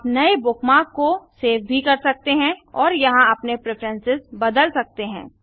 आप नये बुकमार्क को सेव भी कर सकते हैं और यहाँ अपने प्रिफ्रेंसेस बदल सकते हैं